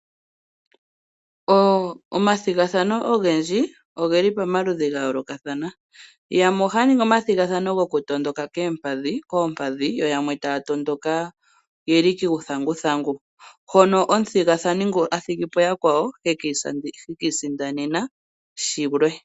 Omathigathano ogendji ogeli pamaludhi ga yooloka thana yamwe ohaa ningi omathigathano goku tondoka koompadhi yoyamwe taatondoka yeli kuuthanguthangu hono omathigathano ngono athigipo yakwawo hekiisindanena shilwe.